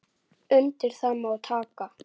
Undir það má taka.